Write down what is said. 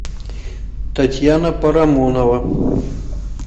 татьяна парамонова